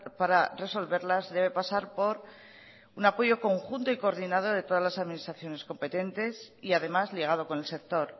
para resolverlas debe pasar por un apoyo conjunto y coordinado por todas las administraciones competentes y además ligado con el sector